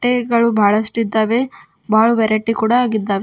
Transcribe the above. ಬಟ್ಟೆಗಳು ಬಳಷ್ಟು ಇದ್ದವೇ ಬಳ ವೆರೈಟಿ ಕೂಡ ಆಗಿದ್ದವೇ.